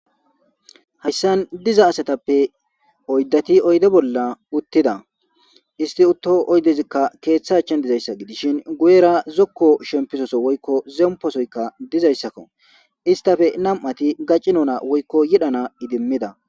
Hayssan diza asatappe oyddati oyde bolla uttida isti utto oydezikka keeththachan dizayssa gidishin guyera zokko shempisoso woykko zemposoyka dizayssakko istafe nam'ati gaccinona woykko yidhana idimmida.